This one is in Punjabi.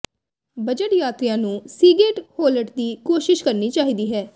ਬਜਟ ਯਾਤਰੀਆਂ ਨੂੰ ਸੀਗੇਟ ਹੋਲਟ ਦੀ ਕੋਸ਼ਿਸ਼ ਕਰਨੀ ਚਾਹੀਦੀ ਹੈ